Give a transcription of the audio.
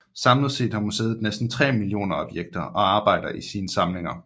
Samlet set har museet næsten 3 millioner objekter og arbejder i sine samlinger